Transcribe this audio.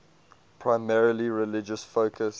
primarily religious focus